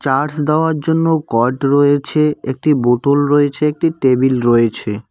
Charge দেওয়ার জন্য cord রয়েছে একটি বোতল রয়েছে একটি টেবিল রয়েছে।